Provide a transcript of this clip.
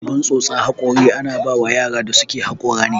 Abun sosa haƙori ana bawan yaran da suke haƙora ne.